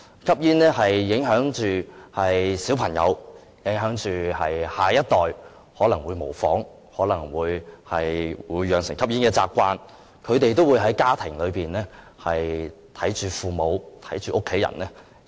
吸煙會影響小朋友、下一代，他們可能會模仿，養成吸煙的習慣。他們可能在家庭裏看到父母和家人吸煙。